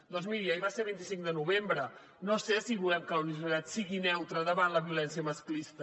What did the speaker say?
doncs miri ahir va ser vint cinc de novembre no sé si volem que la universitat sigui neutra davant la violència masclista